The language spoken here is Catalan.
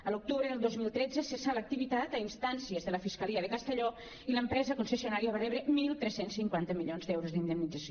a l’octubre del dos mil tretze cessà l’activitat a instàncies de la fiscalia de castelló i l’empresa concessionària va rebre tretze cinquanta milions d’euros d’indemnització